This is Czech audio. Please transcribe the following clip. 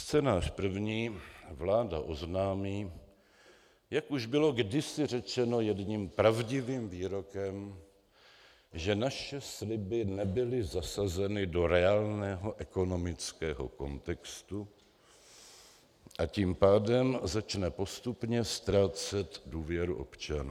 Scénář první: Vláda oznámí, jak už bylo kdysi řečeno jedním pravdivým výrokem, že naše sliby nebyly zasazeny do reálného ekonomického kontextu, a tím pádem začne postupně ztrácet důvěru občanů.